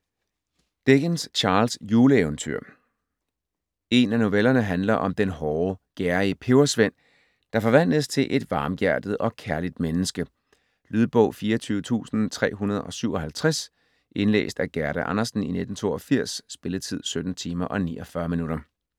Dickens, Charles: Juleeventyr En af novellerne handler om den hårde, gerrige pebersvend, der forvandles til et varmhjertet og kærligt menneske. Lydbog 24357 Indlæst af Gerda Andersen, 1982. Spilletid: 17 timer, 49 minutter.